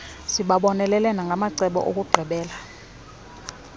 sibabonelele nangamacebo okuqhubela